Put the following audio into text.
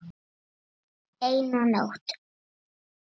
Eina nótt.